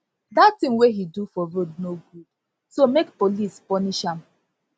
dat thing wey he do for road no good so make police punish am